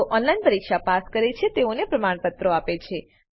જેઓ ઓનલાઈન પરીક્ષા પાસ કરે છે તેઓને પ્રમાણપત્રો આપે છે